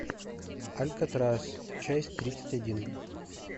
алькатрас часть тридцать один